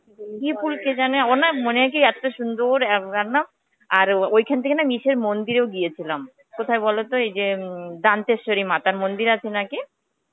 কি ফুল কে জানে ও না মনে হয় কি এত্তো সুন্দর আব আর ঐখান থেকে না ইসের মন্দিরেও গেছিলাম. কোথায় বলতো এই যে এম দান্তেস্বারি মাতার মন্দির আছে নাকি